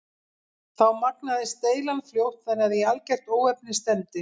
Þá magnaðist deilan fljótt þannig að í algert óefni stefndi.